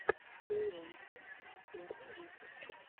бейонсе первый выпуск